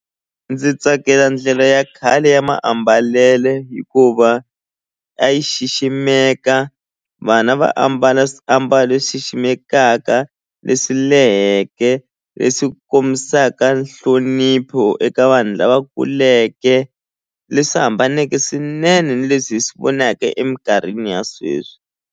Ndzi tsakela ndlela ya khale ya maambalele hikuva a yi xiximeka vana va ambala swiambalo a yi ximekaka leswi leheke leswi kombisaka nhlonipho eka vanhu lava kuleke leswi hambaneke swinene ni leswi hi swi vonaka eminkarhini ya sweswi.